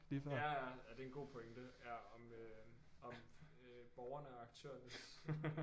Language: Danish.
Ja ja ja det er en god pointe ja om øh om øh borgerne og aktørernes øh